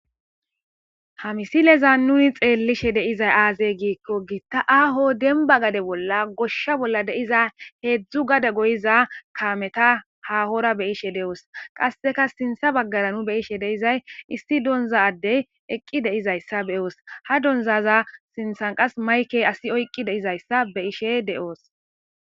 ha misileza nuni xeellishe deiza aaze giikko giitta aaho denba gade bolla goshsha bolla deiza heedzdzu gada goyiza kaameta hahora be ishe de7oos qasseka sintha baggara nu beyishe deizay isti donza addey eqqi deizayssa beyoos ha donzaza sinthan qas maykey asi oyqqi deizayssa be'ishe de'oos